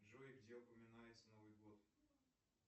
джой где упоминается новый год